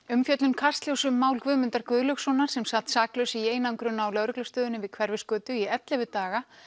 umfjöllun Kastljóss um mál Guðmundar Guðlaugssonar sem sat saklaus í einangrun á lögreglustöðinni við Hverfisgötu í ellefu daga